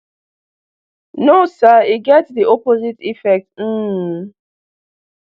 no sir e get di opposite effect um